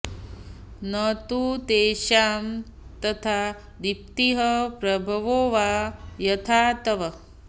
न तु तेषां तथा दीप्तिः प्रभवो वा यथा तव